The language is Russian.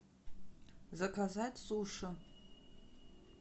заказать суши